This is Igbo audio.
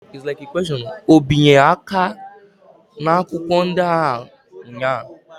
O binye aka n'akwụkwọ ndị ahụ ụnyaahụ?